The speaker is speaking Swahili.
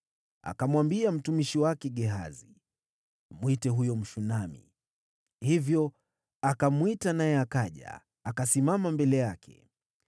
Akamwambia mtumishi wake Gehazi, “Mwite huyo Mshunami.” Hivyo akamwita, naye akaja akasimama mbele yake.